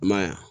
I ma ye wa